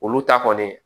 Olu ta kɔni